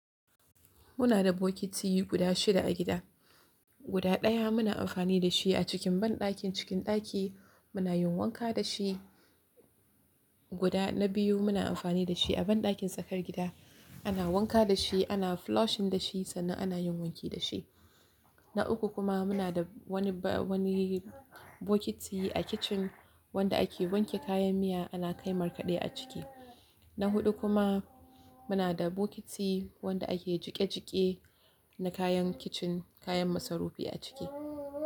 Muna da bokiti guda shida a gida. Guda daya muna amfani da shi a cikin banɗakin cikin ɗaki muna yin wanka da shi. Guda na biyu muna amfani da shi a banɗakin tsakar gida ana wanka da shi ana flushing da shi sannan ana yin wanki da shi. Na uku kuma muna da wani ba wani bokiti a kicin wanda ake wanke kayan miya ana kai markaɗe a ciki. Na huɗu kuma muna da bokiti wanda ake jike jike na kayan kicin kayan masarufi a ciki.